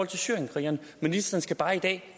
til syrienskrigerne ministeren skal bare i dag